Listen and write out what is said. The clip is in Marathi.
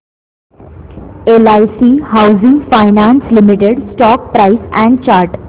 LIC housing finance limited stock price and chart